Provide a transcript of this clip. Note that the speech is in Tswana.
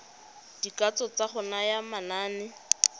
dikatso tsa go naya manane